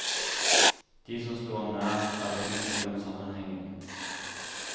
De som sto ham nær, er ikke i tvil om sammenhengen.